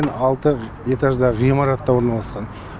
алты этажда ғимаратта орналасқан